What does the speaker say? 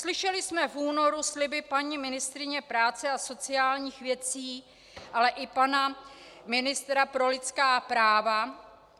Slyšeli jsme v únoru sliby paní ministryně práce a sociálních věcí, ale i pana ministra pro lidská práva.